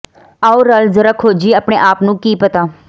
ਆਓ ਰਲ ਜਰਾ ਖੋਜੀਏ ਆਪਣੇ ਆਪ ਨੂੰ ਕੀ ਪਤਾ